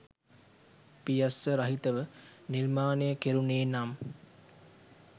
පියස්ස රහිතව නිර්මාණය කෙරුනේ නම්